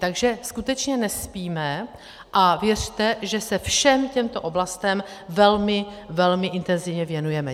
Takže skutečně nespíme a věřte, že se všem těmto oblastem velmi, velmi intenzivně věnujeme.